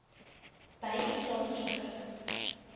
by u plaaslike